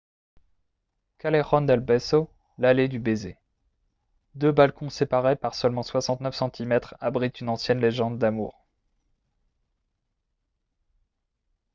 callejon del beso l’allée du baiser. deux balcons séparés par seulement 69 centimètres abritent une ancienne légende d’amour